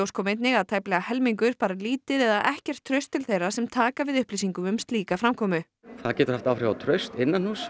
kom einnig að tæplega helmingur bar lítið eða ekkert traust til þeirra sem taka við upplýsingum um slíka framkomu það getur haft áhrif á traust